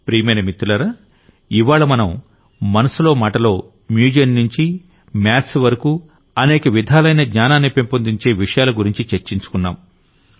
ప్రియమైన మిత్రులారా ఇవ్వాళ్ల మనం మనసులో మాటలో మ్యూజియం నుంచి మ్యాథ్స్ వరకూ అనేక విధాలైన జ్ఞానాన్ని పెంపొందించే విషయాల గురించి చర్చించుకున్నాం